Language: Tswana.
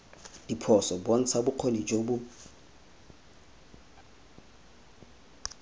diphoso bontsha bokgoni jo bo